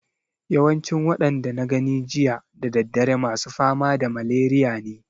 Yawancin waɗanda na gani jiya da daddare masu fama da maleriya ne